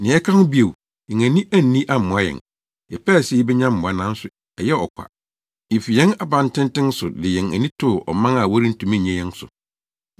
Nea ɛka ho bio, yɛn ani anni ammoa yɛn, yɛpɛɛ sɛ yebenya mmoa, nanso ɛyɛɛ ɔkwa; yefi yɛn abantenten so de yɛn ani too ɔman a wɔrentumi nnye yɛn so.